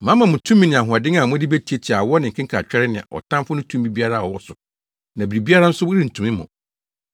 Mama mo tumi ne ahoɔden a mode betiatia awɔ ne nkekantwɛre ne ɔtamfo no tumi biara a ɔwɔ so na biribiara nso rentumi mo.